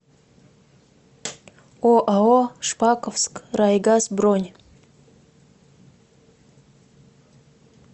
оао шпаковскрайгаз бронь